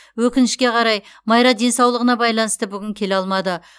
өкінішке қарай майра денсаулығына байланысты бүгін келе алмады